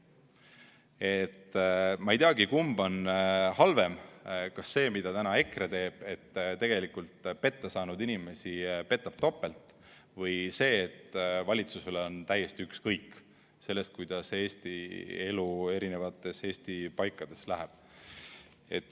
Nii et ma ei teagi, kumb on halvem – kas see, mida täna EKRE teeb, et pettasaanud inimesi petab topelt, või see, et valitsusel on täiesti ükskõik sellest, kuidas Eesti elu Eesti eri paikades läheb.